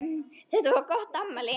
Þetta var gott afmæli.